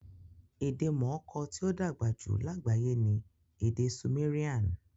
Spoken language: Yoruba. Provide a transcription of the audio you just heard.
Ede mooko ti odagba ju lagbaye ni ede Sumerian